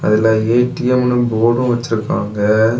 அதுல ஏ_டி_எம்னு போர்டும் வச்சிருக்காங்க.